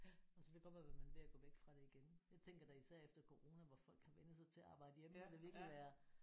Ja og så kan det godt være man er ved at gå væk fra det igen. Jeg tænker da især efter corona hvor folk har vænnet sig til at arbejde hjemme det må da virkelig være